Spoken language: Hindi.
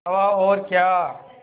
हवा और क्या